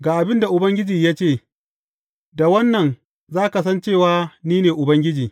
Ga abin da Ubangiji ya ce, da wannan za ka san cewa ni ne Ubangiji.